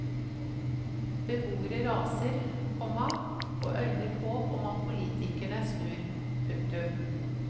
Beboere raser, komma og øyner håp om at politikerne snur. punktum